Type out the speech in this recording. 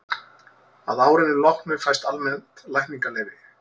að árinu loknu fæst almennt lækningaleyfi